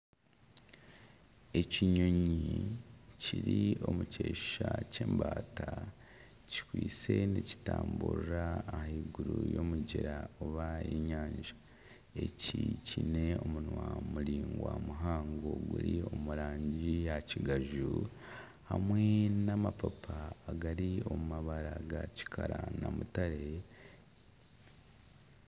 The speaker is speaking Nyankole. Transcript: Ekinyonyi kiri omu kishusha ky'embaata kikwaitse nikitamburira ahaiguru y’omugyera oba enyanja eki kyine omunwa muraingwa muhango guri omu rangi ya kigaju hamwe n'amapapa agari omu mabara ga kikara na mutare.